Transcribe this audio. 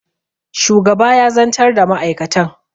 shugaba ya zantar da ma'aikatan